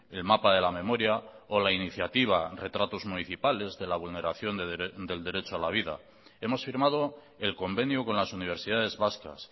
el mapa de la memoria o la iniciativa retratos municipales de la vulneración del derecho a la vida hemos firmado el convenio con las universidades vascas